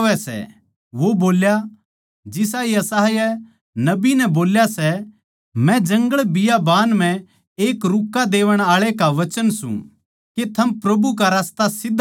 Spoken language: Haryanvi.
वो बोल्या जिसा यशायाह नबी नै बोल्या सैः मै जंगलबियाबान म्ह एक रूक्का देवण आळे का वचन सूं के थम प्रभु का रास्ता सीध्धा करो